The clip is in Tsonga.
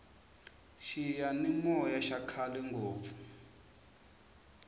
xiyani moya xa khale ngopfu